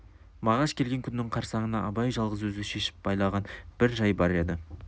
мағаш келген күннің қарсаңына абай жалғыз өзі шешіп байлаған бір жай бар еді